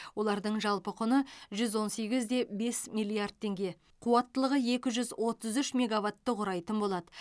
олардың жалпы құны жүз он сегіз де бес миллиард теңге қуаттылығы екі жүз отыз үш мегаватты құрайтын болады